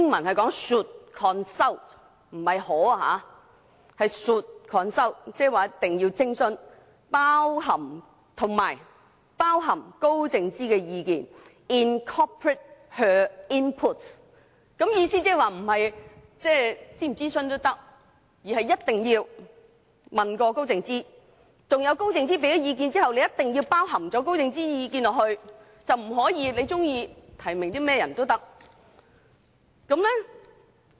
這表示一定要徵詢及包含高靜芝的意見，表示並非可選擇諮詢與否，而是一定要徵詢高靜芝的意見，而在徵詢高靜芝的意見後須包含高靜芝的意見在其中，不能按個人意願提名任何人。